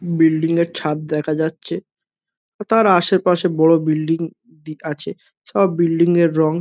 building এর ছাদ দেখা যাচ্ছে তার আশেপাশে বড় বিল্ডিং দিখাছে সব বিল্ডিং এর রং--